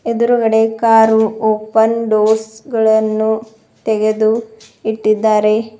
ಎದುರುಗಡೆ car open doors ಗಳನ್ನು ತೆಗೆದು ಇಟ್ಡಿದ್ದಾರೆ.